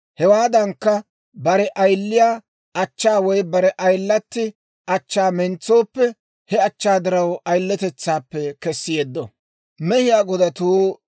Hewaadankka, bare ayiliyaa achchaa woy bare ayilatti achchaa mentsooppe, he achchaa diraw ayiletetsaappe kessi yeddo.